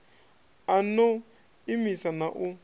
a no imisa na u